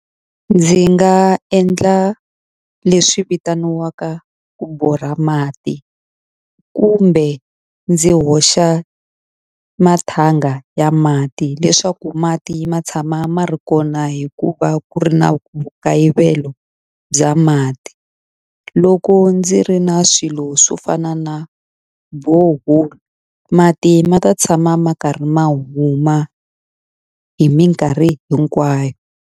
Ndzi nga endla leswi vitaniwaka ku borha mati kumbe ndzi hoxa mathanga ya mati leswaku mati ma tshama ma ri kona hi ku va ku ri na vu nkayivelo bya mati loko ndzi ri na swilo swo fana na borehole mati ma ta tshama ma karhi ma huma hi minkarhi hinkwayo.